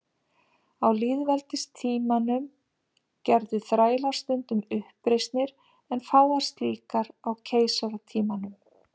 Á lýðveldistímanum gerðu þrælar stundum uppreisnir en fáar slíkar á keisaratímanum.